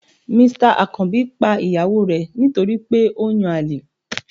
Mr akanbi pa iyawo re nítorí pe o n yán alè